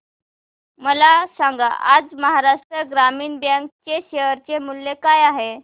मला सांगा आज महाराष्ट्र ग्रामीण बँक चे शेअर मूल्य काय आहे